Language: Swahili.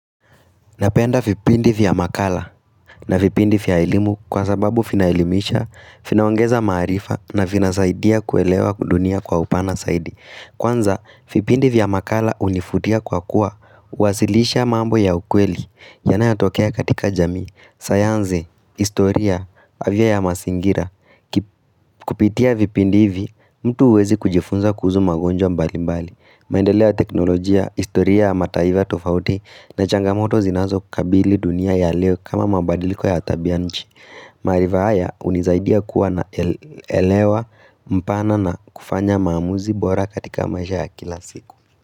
Napenda vipindi vya makala na vipindi vya elimu kwa sababu vinaelimisha, vinaongeza maarifa na vinasaidia kuelewa dunia kwa upana zaidi. Kwanza, vipindi vya makala hunivutia kwa kuwa, huwasilisha mambo ya ukweli, yanayotokea katika jamii, sayansi, historia, afya ya mazingira Kupitia vipindi hivi, mtu huweza kujifunza kusu magonjwa mbali mbali. Maendeleo ya teknolojia, historia ya mataifa tofauti na changamoto zinazokabili dunia ya leo kama mabadiliko ya tabianchi Marivaya hunisaidia kuwa naelewa mpana na kufanya maamuzi bora katika maisha ya kila siku.